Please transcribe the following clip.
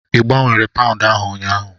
Ị gbanwere Paụndụ ahụ ụnyaahụ?